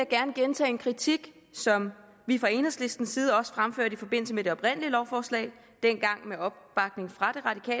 gerne gentage en kritik som vi fra enhedslistens side også fremførte i forbindelse med det oprindelige lovforslag dengang med opbakning fra